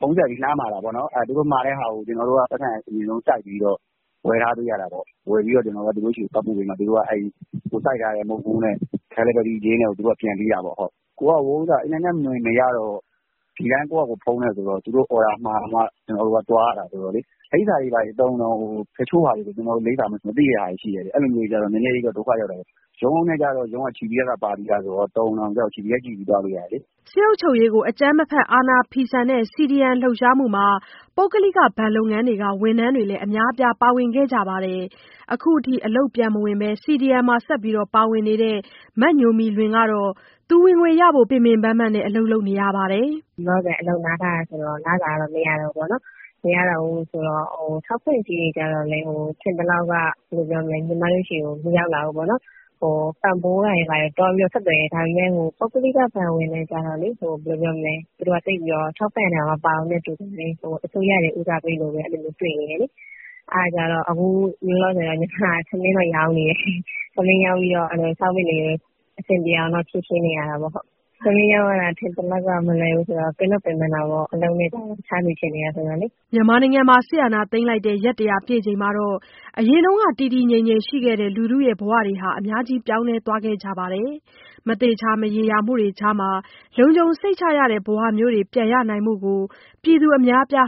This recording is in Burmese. ဖုန်းဆက်ပြီးလှမ်းမှာတာပေါ့နော်။ သူတို့မှာတဲ့ဟာကို ကျနော်တို့က ပိုက်ဆံအရင်ဆုံး စိုက်ပြီးတော့ ဝယ်ထားပေးရတာပေါ့။ ဝယ်ပြီး သူတို့ဆီ သွားပို့ပေးတော့မှ ကိုယ်စိုက်ထားတဲ့ မုန့်ဖိုးနဲ့ ပို့ခနဲ့ကို သူတို့ကပြန်ပေးတာပေါ့။ အခုက အင်တာနက်မရတော့ ဒီတိုင်း ကိုယ့်ဟာကိုယ်ဖုန်းနဲ့ဆိုတော့ သူတို့အော်ဒါမှာမှ ကျနော်တို့ကသွားရတာ ဆိုတော့လေ တချို့လိပ်စာတွေဆို ကျနော်တို့ မသိတာတွေ ရှိတယ်ဗျ။ အဲဒီလိုမျိုးဆိုတော့ နည်းနည်းတော့ ဒုက္ခရောက်တာပေါ့။ ရုံးနဲ့ချိတ်တုန်းကဆို ရုံးက GPS ပါပြီးသားဆိုတော့ တော်ရုံတန်ရုံကျတော့ GPS ကြည့်ပြီးသွားလို့ရတယ်လေ။” စစ်အုပ်ချုပ်ရေးကို အကြမ်းမဖက် အာဏာဖီဆန်တဲ့ CDM လှုပ်ရှားမှုမှာ ပုဂ္ဂလိကဘဏ်လုပ်ငန်းက ဝန်ထမ်းအများအပြား ပါဝင်ခဲ့ကြပါတယ်။ အခုထိ အလုပ်ပြန်မဝင်ဘဲ CDM မှာ ဆက်ပြီးပါဝင်နေတဲ့ မညိုမီလွင်ကတော့ ဝင်ငွေရဖို့ ပင်ပင်ပန်းပန်း အလုပ်လုပ်နေပါတယ်။ “လောလောဆယ် အလုပ်နားထားတာဆိုတော့ လစာတော့ မရတော့ဘူးပေါ့နော်။ ထောက်ပံ့ကြေးတွေကျတော့လည်း ညီမတို့ဆီ မရောက်လာဘူး။ ပံ့ပိုးတာတွေ ဘာတွေဆို သွားပြီးတော့ ဆက်သွယ်တယ်။ ဒါပေမဲ့ ပုဂ္ဂလိကဘဏ်ဝန်ထမ်းကျတော့ သူတို့ထောက်ပံ့တဲ့အထဲ မပါဘူးနဲ့ တူပါတယ်။ အစိုးရဝန်ထမ်းတွေကို ဦးစားပေးတာပဲ တွေ့နေတယ်လေ။ အဲဒါကြောင့် အခုလောလောဆယ်တော့ ညီမက ထမင်းတော့ရောင်းနေတယ်။ ထမင်းရောင်းပြီးတော့ စားဝတ်နေရေး အဆင်ပြေအောင်တော့ ဖြေရှင်းနေရတာပေါ့။ ထမင်းရောင်းရတာ ထင်သလောက် မလွယ်ဘူးဆိုတော့ ပင်တော့ပင်ပန်းတာပေါ့... အရင်အလုပ်နဲ့က တခြားဆီဖြစ်နေတာ ဆိုတော့လေ။” စစ်အာဏာသိမ်းထားတာ ရက် ၁၀၀ ပြည့်ချိန်မှာ အရင်က တည်တည်ငြိမ်ငြိမ်ရှိနေခဲ့ကြတဲ့ ဘဝတွေ အများကြီး ပြောင်းလဲသွားခဲ့ကြပါတယ်။ မသေချာ မရေရာမှုတွေကြားမှာ လုံခြုံစိတ်ချရတဲ့ ဘဝမျိုး ပြန်ရနိုင်ဖို့ ပြည်သူအများအပြား